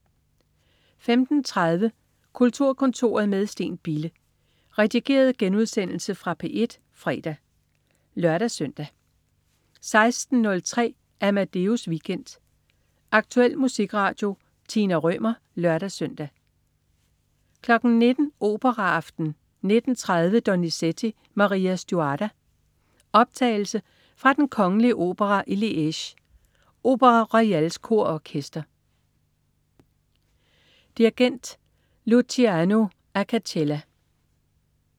15.30 Kulturkontoret med Steen Bille. Redigeret genudsendelse fra P1 fredag (lør-søn) 16.03 Amadeus Weekend. Aktuel musikradio. Tina Rømer (lør-søn) 19.00 Operaaften. 19.30 Donizetti: Maria Stuarda. Optagelse fra Den kongelige Opera i Liège. Opéra Royals kor og Orkester. Dirigent: Luciano Acacella